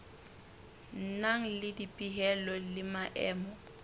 nang le dipehelo le maemo